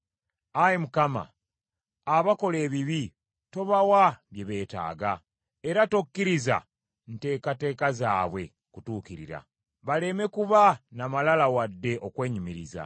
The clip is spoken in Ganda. Ayi Mukama , abakola ebibi tobawa bye beetaaga, era tokkiriza ntekateeka zaabwe kutuukirira; baleme kuba na malala wadde okwenyumiriza.